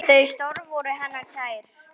Þau störf voru henni kær.